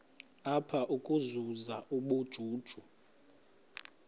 apha ukuzuza ubujuju